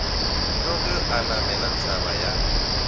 tloge a namela thaba ya